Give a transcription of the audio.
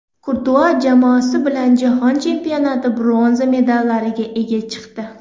Kurtua jamoasi bilan Jahon Chempionati bronza medallariga ega chiqdi.